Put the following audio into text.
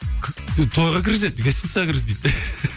тойға кіргізеді гостиницаға кіргізбейді